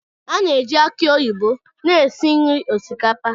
A na-eji aki oyibo na-esi nri osikapa.